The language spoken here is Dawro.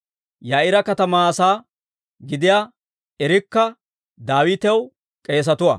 Yaa'iira katamaa asaa gidiyaa Irikka Daawitaw k'eesatuwaa.